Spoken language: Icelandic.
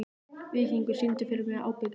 Víkingur, syngdu fyrir mig „Ábyggilega“.